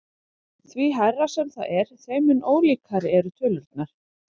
Því hærra sem það er þeim mun ólíkari eru tölurnar.